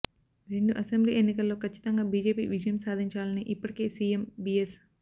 రెండు అసెంబ్లీ ఎన్నికల్లో కచ్చితంగా బీజేపీ విజయం సాధించాలని ఇప్పటికే సీఎం బీఎస్